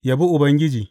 Yabi Ubangiji.